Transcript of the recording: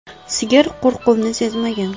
Sigir qo‘rquvni sezmagan.